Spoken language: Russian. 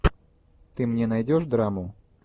ты мне найдешь драму